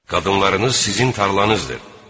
Qadınlarınız sizin tarlanızdır.